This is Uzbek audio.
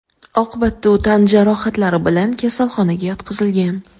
Oqibatda u tan jarohatlari bilan kasalxonaga yotqizilgan.